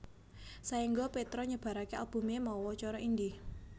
Saéngga Petra nyebaraké albumé mawa cara indie